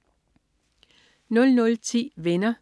00.10 Venner.*